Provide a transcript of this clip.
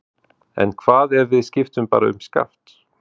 En hvað ef við skiptum bara um skaft?